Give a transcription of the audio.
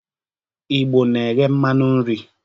Igbo na-eghe mmanu nri.